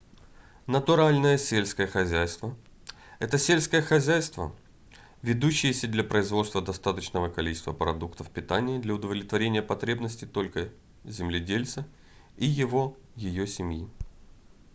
натуральное сельское хозяйство — это сельское хозяйство ведущееся для производства достаточного количества продуктов питания для удовлетворения потребностей только земледельца и его/ее семьи